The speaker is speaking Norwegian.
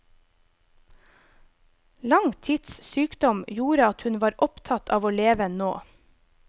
Lang tids sykdom gjorde at hun var opptatt av å leve nå.